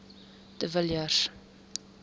de villiers